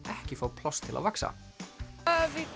ekki fá pláss til að vaxa við